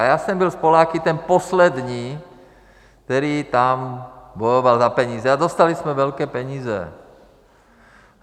A já jsem byl s Poláky ten poslední, který tam bojoval za peníze a dostali jsme velké peníze.